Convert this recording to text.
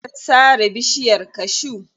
An sare bishiyar cashew.